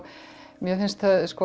mér finnst